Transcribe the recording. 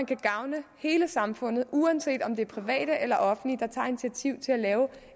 kan gavne hele samfundet uanset om det er private eller offentlige der tager initiativet til at lave